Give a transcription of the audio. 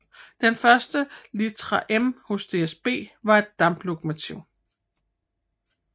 Den første litra M hos DSB var et damplokomotiv